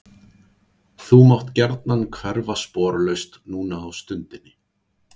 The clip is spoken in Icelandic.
Þú mátt gjarnan hverfa sporlaust núna á stundinni.